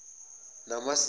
namasiko